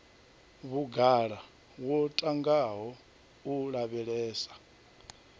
vhugala wo ntangaho u lavhelesa